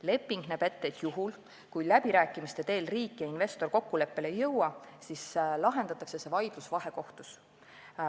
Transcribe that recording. Leping näeb ette, et juhul, kui riik ja investor läbirääkimiste teel kokkuleppele ei jõua, lahendatakse vaidlus vahekohtus.